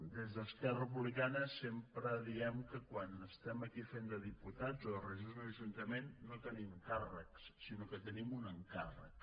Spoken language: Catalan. des d’esquerra republicana sempre diem que quan estem aquí fent de diputats o de regidors d’un ajuntament no tenim càrrecs sinó que tenim un encàrrec